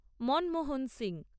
Manmohan Singh